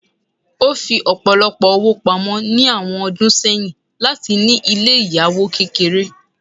O fí ọpọlọpọ ọwó pámọ ni awọn ọdún sẹyìn latí ní ilé ìyàwò kékeré.